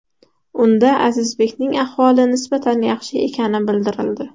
Unda Azizbekning ahvoli nisbatan yaxshi ekani bildirildi.